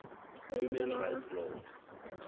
human rights law